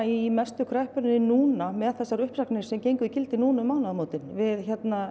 í mestu kreppuna núna með þessar uppsagnir sem gengu í gildi núna um mánaðamótin við